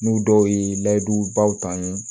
N'u dɔw ye layidubaw ta n ye